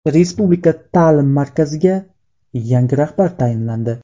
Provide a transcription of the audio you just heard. Respublika ta’lim markaziga yangi rahbar tayinlandi.